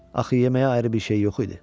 Axı yeməyə ayrı bir şey yox idi.